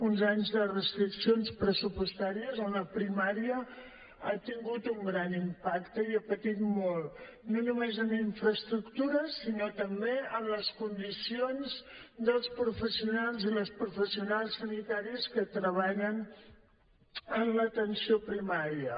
uns anys de restriccions pressupostàries on la primària ha tingut un gran impacte i ha patit molt no només en infraestructures sinó també en les condicions dels professionals i les professionals sanitàries que treballen en l’atenció primària